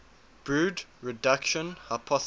brood reduction hypothesis